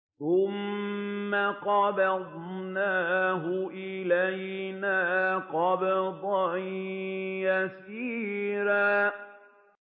ثُمَّ قَبَضْنَاهُ إِلَيْنَا قَبْضًا يَسِيرًا